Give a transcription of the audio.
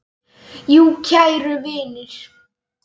Jú, kæru vinir.